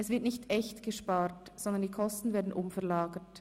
Es wird nicht echt gespart, sondern die Kosten werden umverlagert.